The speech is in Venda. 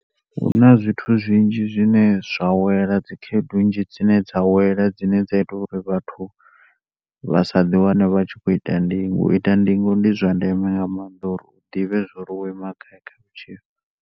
Huna zwithu zwinzhi zwine zwa wela dzi khaedu nnzhi dzine dza wela zwine zwa ita uri vhathu vha sa ḓi wane vha khoita ndingo u ita ndingo ndi zwandeme nga maanḓa uri u ḓivhe uri wo ima gai kha vhutshilo